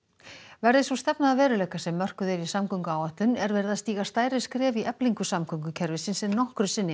verði sú stefna að veruleika sem mörkuð er í samgönguáætlun er verið að stíga stærri skref í eflingu samgöngukerfisins en nokkru sinni